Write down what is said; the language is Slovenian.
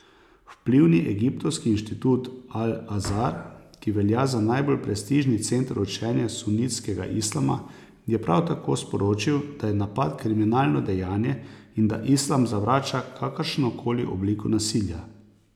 Vplivni egiptovski inštitut Al Azhar, ki velja za najbolj prestižni center učenja sunitskega islama, je prav tako sporočil, da je napad kriminalno dejanje in da islam zavrača kakršnokoli obliko nasilja.